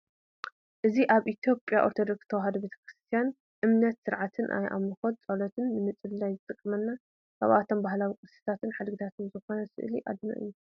እዚ ኣብ ናይ ኢ/ያ ኦርቶዶክስ ተዋህዶ ቤተ ክርስትያን እምነትን ስርዓትን ናይ ኣምልኾት ፀሎት ንምፅላይ ዝጠቅም ካብቶም ባህላዊ ቅርስታትን ሓድግታትን ዝኾነ ስእሊ ኣድህኖ እዩ፡፡